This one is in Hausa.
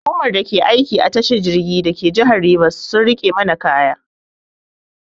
Hukumar da ke aiki a tashar jirgi dake jihar Rivers sun rike mana kaya.